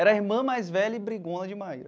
Era irmã mais velha e brigona de Maíra.